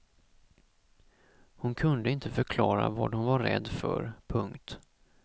Hon kunde inte förklara vad hon var rädd för. punkt